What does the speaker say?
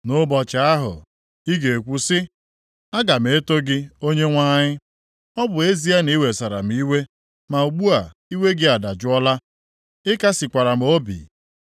Nʼụbọchị ahụ, ị ga-ekwu sị, “Aga m eto gị Onyenwe anyị. Ọ bụ ezie na ị wesara m iwe, ma ugbu a, iwe gị adajụọla; ị kasịkwara m obi.